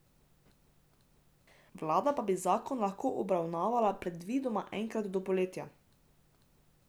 Vlada pa bi zakon lahko obravnavala predvidoma enkrat do poletja.